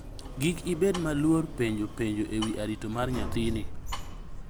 Gik ibed ma oluor penjo penjo e wi arito mar nyathini